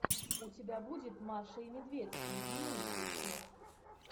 у тебя будет маша и медведь любимые песни